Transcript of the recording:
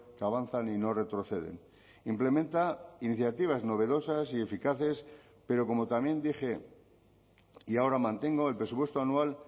que avanzan y no retroceden implementa iniciativas novedosas y eficaces pero como también dije y ahora mantengo el presupuesto anual